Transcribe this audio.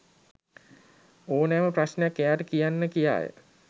ඕනෑම ප්‍රශ්නයක් එයාට කියන්න කියාය.